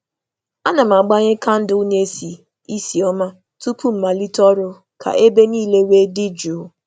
A na m agbanye kandụl na - esi isi ọma tupu m malite ọrụ ka ebe niile wee dị jụụ